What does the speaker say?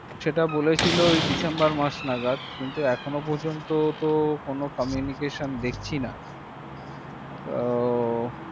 সেটা বলেছিলো december মাস নাগাদ তো এখন ও পর্যন্ত তো কোন communication দেখছি না হু তো